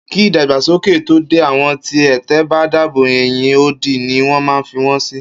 Kí ìdàgbàsókè tó dé, àwọn ti ẹ̀tẹ̀ bá dàbò, ẹ̀yìn odi ni wọ́n ma ń fi won sì